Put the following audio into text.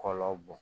Kɔlɔ bɔn